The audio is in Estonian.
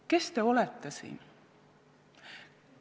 Kes te olete siin?